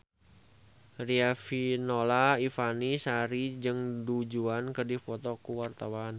Riafinola Ifani Sari jeung Du Juan keur dipoto ku wartawan